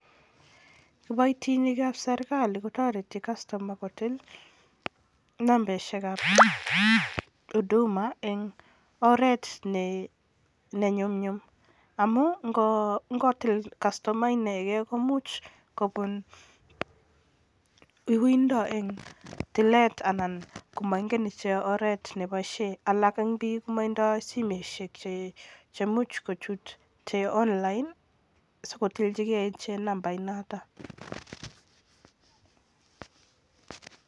Kiboitinikan serikali kotoreti kastoma kotil nambeshekab huduma eng oret ne nyumnyum amun ngotil kastoma inekei komuch kobun uuindo eng tilet anan koma ingeen ichek oret neboishe, alak eng biik koma indoi simoishek chemuch kochute online sikotilchikei ichek nambait notok.